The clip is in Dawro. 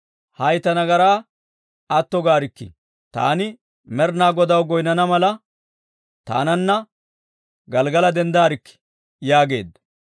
Hay ta nagaraa atto gaarikkii; taani Med'inaa Godaw goynnana mala, taananna Gelggala denddarkkii» yaageedda.